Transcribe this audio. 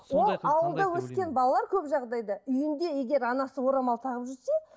ол ауылда өскен балалар көп жағдайда үйінде егер анасы орамал тағып жүрсе